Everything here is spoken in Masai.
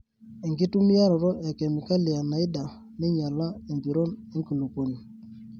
Enkitumiaroto e kemikali enaida neinyala empiron enkulupuoni.